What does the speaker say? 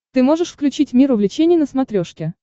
ты можешь включить мир увлечений на смотрешке